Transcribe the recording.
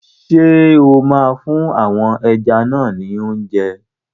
Ṣé o máa fún àwọn ẹja náà ni óúnjẹ?